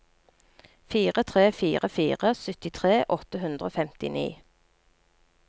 fire tre fire fire syttitre åtte hundre og femtini